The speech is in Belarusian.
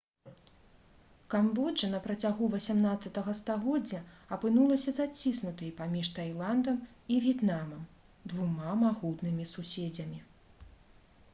камбоджа на працягу 18 стагоддзя апынулася заціснутай паміж тайландам і в'етнамам двума магутнымі суседзямі